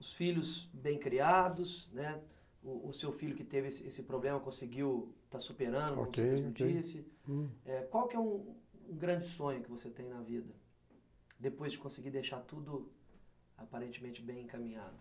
Os filhos bem criados, né, o o seu filho que teve esse problema conseguiu está superando, como você mesmo disse, ok, ok. Qual que é um grande sonho que você tem na vida, depois de conseguir deixar tudo aparentemente bem encaminhado?